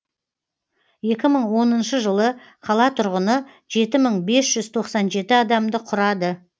екі мың оныншы жылы қала тұрғыны жеті мың бес жүз тоқсан жеті адамды құрады